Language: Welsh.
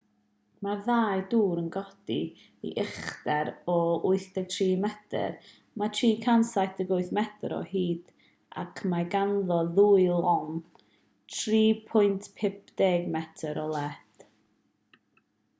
mae'r ddau dŵr yn codi i uchder o 83 metr mae'n 378 metr o hyd ac mae ganddo ddwy lôn 3.50 metr o led